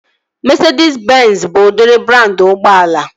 Mesedis benzi bụ udịri brandị ụgbọala